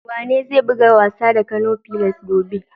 Wanene zai buga wasa da Kano fillars gobe?